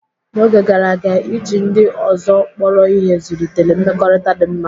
N'oge gara aga, iji ndị ọzọ kpọrọ ihe zụlitere mmekọrịta dị mma.